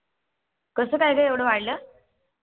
कस काय ग एवढा वाढलं आ